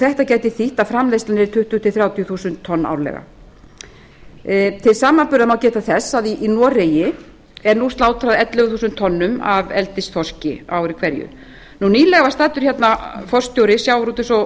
þetta gæti þýtt að framleiðslan yrði tuttugu til þrjátíu þúsund tonn árlega til samanburðar má geta þess að í noregi er nú slátrað ellefu þúsund tonnum af eldisþorski á ári hverju nýlegar var staddur hérna forstjóri sjávarútvegs